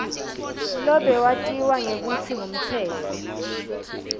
lobewatiwa ngekutsi ngumtsetfo